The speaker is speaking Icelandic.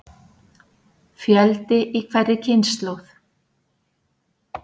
Fjöldi í hverri kynslóð.